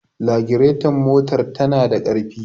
raditon motar tana da ƙarfi